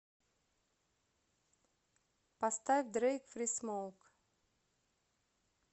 поставь дрэйк фри смоук